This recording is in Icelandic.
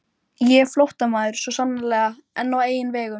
Ég er flóttamaður, svo sannarlega, en á eigin vegum